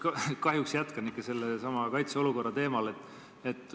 Ma kahjuks jätkan ikka sellesama kaitseolukorra teemal.